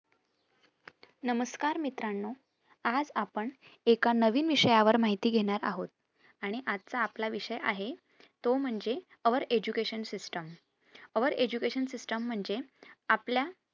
नमस्कार मित्रांनो, आज आपण एका नवीन विषयावर माहिती घेणार आहोत आणि आजचा आपला विषय आहे तो म्हणजे our education system our education system म्हणजे आपल्या